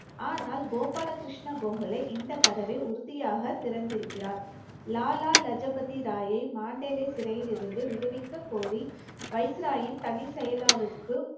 ஆனால் கோபாலகிருஷ்ண கோகலே இந்த கதவை உறுதியாக திறந்திருக்கிறார் லாலா லஜு பதி ராய் ராயை மாண்டேலை சிறையிலிருந்து விடுவிக்க கோரி வைசிராயின் தனி செயலாளருக்கு